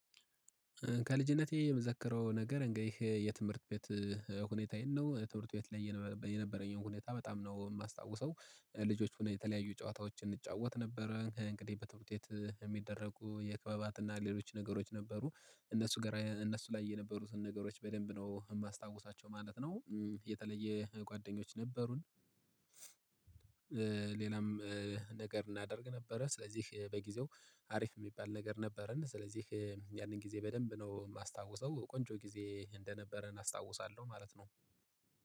ከልጅነቴ የምዘክረው ነገር ይሄ የትምህርት ቤት ሁኔታዬን ነው የትምህርት ቤት ላይ የነበረኝን ሁኔታ በጣም ነው የማስታውሰው። ልጆች ሆነ የተለያዩ ጨዋታዎችን እንጫወት ነበረ። እንግዲህ በትምህርት ውጤት የሚደረጉ የክበባትና ሌሎች ነገሮች ነበሩ። እነሱ ጋር እነሱ ላይ የነበሩትን ነገሮች በደንብ ነው የማስታውሳቸው ማለት ነው። የተለየ ጓደኞች ነበሩን። ሌላም ነገር እናደርግ ነበረ። ስለዚህ በጊዜው ሀሪፍ የሚባል ነገር ነበረን ስለዚህ ያንን ጊዜ በደንብ ነው የማስታውሰው። ቆንጆ ጊዜ እንደነበረ እናስታውሳለሁ ማለት ነው